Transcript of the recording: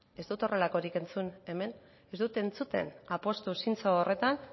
ez dut horrelakorik entzun hemen ez dut entzuten apustu zintzo horretan